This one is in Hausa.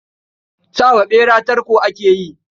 Sa wa ɓera tarko ake yi.